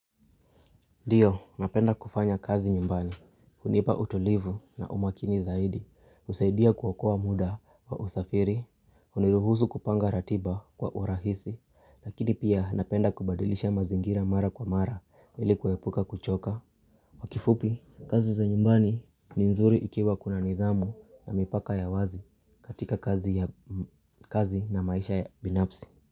Ndiyo, napenda kufanya kazi nyumbani, hunipa utulivu na umakini zaidi, husaidia kuokoa muda wa usafiri, uniruhusu kupanga ratiba kwa urahisi, lakini pia napenda kubadilisha mazingira mara kwa mara hili kuepuka kuchoka kifupi, kazi za nyumbani ni nzuri ikiwa kuna nidhamu na mipaka ya wazi katika kazi na maisha ya binafsi.